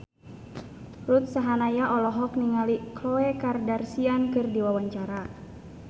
Ruth Sahanaya olohok ningali Khloe Kardashian keur diwawancara